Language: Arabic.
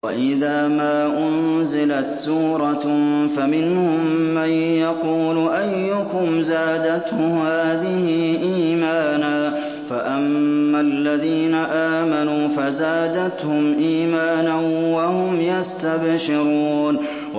وَإِذَا مَا أُنزِلَتْ سُورَةٌ فَمِنْهُم مَّن يَقُولُ أَيُّكُمْ زَادَتْهُ هَٰذِهِ إِيمَانًا ۚ فَأَمَّا الَّذِينَ آمَنُوا فَزَادَتْهُمْ إِيمَانًا وَهُمْ يَسْتَبْشِرُونَ